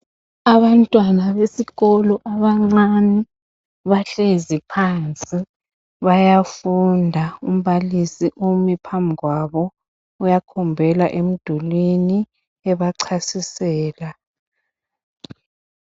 Abantwana besikolo abancane bahlezi phansi bayafunda ,umbalisi umi phambikwabo .Uyakhombela emdulwini ebachasisela.